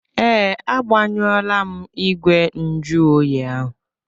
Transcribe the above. Ee, agbanyuọọla m igwe njụ oyi ahụ.